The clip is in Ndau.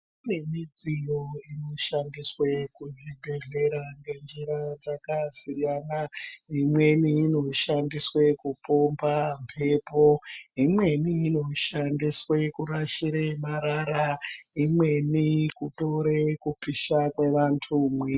Kune midziyo ino shandiswe ku zvibhedhlera nge njira dzaka siyana imweni ino shandiswe ku pomba mhepo imweni ino shandiswe kurashire marara imweni kutore kupisha kwe vantu mwiri.